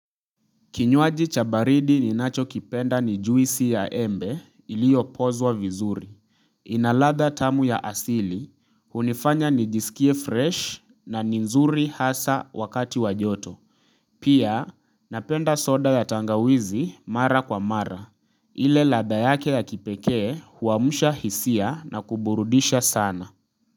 Kinywaji chabaridi ninacho kipenda nijuisi ya embe iliyo pozwa vizuri. Inaladha tamu ya asili, hunifanya nijisikie fresh na ninzuri hasa wakati wajoto. Pia napenda soda ya tangawizi mara kwa mara, ile ladha yake ya kipekee huamusha hisia na kuburudisha sana.